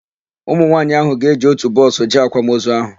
Ụmụnwaanyị áhụ̀ ga-eji ótù bọọsụ jee àkwàmozu áhụ̀.